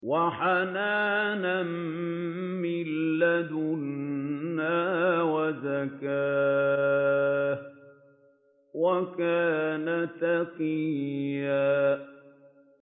وَحَنَانًا مِّن لَّدُنَّا وَزَكَاةً ۖ وَكَانَ تَقِيًّا